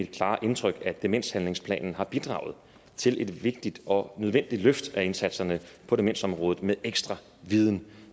klare indtryk at demenshandlingsplanen har bidraget til et vigtigt og nødvendigt løft af indsatserne på demensområdet med ekstra viden